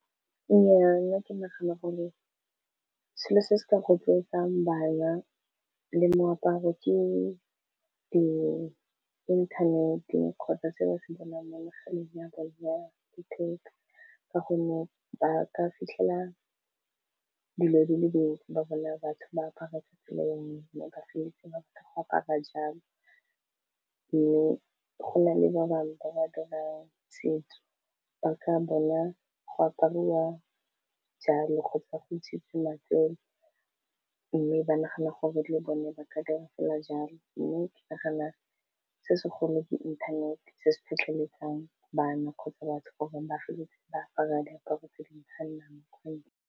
Nnyaa nna ke nagana gore selo se se ka rotloetsang bana le moaparo ke di inthaneteng kgotsa se ba se bonang mo mogaleng wa letheka, ka gonne ba ka fitlhela dilo dile dintsi ba bona batho ba apara bangwe ba feleletsa ba tlo go apara jalo mme go na le ba bangwe ba ba dirang setso ba ka bona go apariwa jalo go fa go itsisiwa fela mme ba nagana gore le bone ba ka dira fela jalo mme ke nagana se segolo ke inthanete se se tlhotlheletsang bana kgotsa batho gore bafeletse ba apara di aparo tse di tshwanelang .